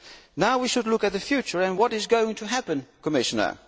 Now we should look at the future what is going to happen, Commissioner?